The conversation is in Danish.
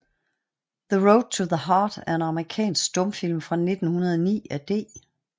The Road to the Heart er en amerikansk stumfilm fra 1909 af D